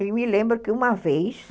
Eu me lembro que uma vez...